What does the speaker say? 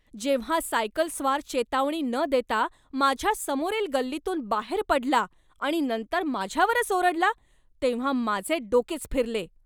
जेव्हा सायकलस्वार चेतावणी न देता माझ्या समोरील गल्लीतून बाहेर पडला आणि नंतर माझ्यावरच ओरडला तेव्हा माझे डोकेच फिरले.